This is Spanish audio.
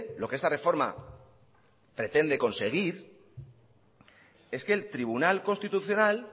lo que esta reforma pretende conseguir es que el tribunal constitucional